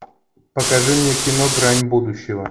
покажи мне кино грань будущего